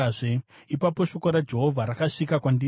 Ipapo shoko raJehovha rakasvika kwandiri richiti,